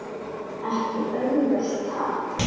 Ekki auðvelt ha?